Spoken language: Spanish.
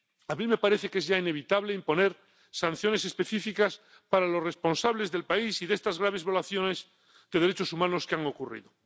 A mí me parece que es ya inevitable imponer sanciones específicas para los responsables del país y de estas graves violaciones de derechos humanos que han ocurrido.